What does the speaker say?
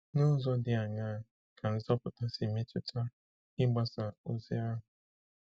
N’ụzọ dị aṅaa ka nzọpụta si metụta ịgbasa ozi ahụ?